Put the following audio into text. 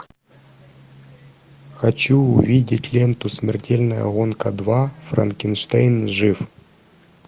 хочу увидеть ленту смертельная гонка два франкенштейн жив